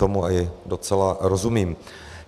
Tomu i docela rozumím.